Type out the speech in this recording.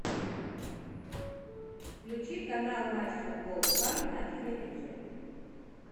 включи канал матч футбол два на телевизоре